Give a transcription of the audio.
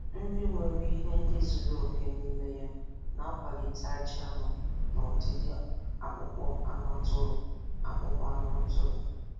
Nri nwere ihe ndị zuru oke n' ime ya na-akwalite ajị anụ na ọdịdị akpụkpọ anụ atụrụ. akpụkpọ anụ atụrụ.